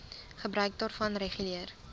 gebruik daarvan reguleer